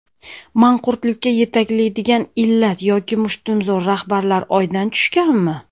Manqurtlikka yetaklaydigan illat yoki mushtumzo‘r rahbarlar Oydan tushganmi?.